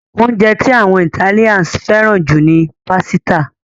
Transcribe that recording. Oúnjẹ tí àwọn Ìtálians fẹ́ràn jù ni pásítà.